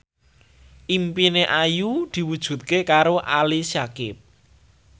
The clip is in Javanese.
impine Ayu diwujudke karo Ali Syakieb